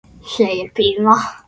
segir Pína.